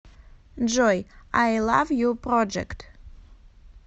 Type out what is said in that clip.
джой ай лав ю проджект